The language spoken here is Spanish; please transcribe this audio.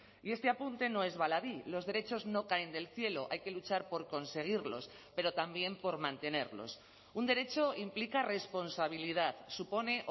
y este apunte no es baladí los derechos no caen del cielo hay que luchar por conseguirlos pero también por mantenerlos un derecho implica responsabilidad supone